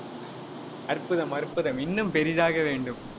அற்புதம், அற்புதம் இன்னும் பெரிதாக வேண்டும்.